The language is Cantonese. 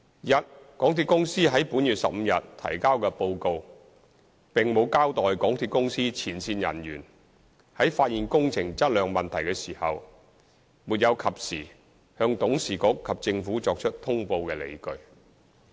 一港鐵公司在本月15日提交的報告，並無交代港鐵公司前線人員，在發現工程質量問題時，沒有及時向董事局及政府作出通報的理據。